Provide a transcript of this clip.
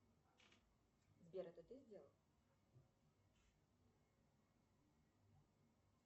сбер это ты сделал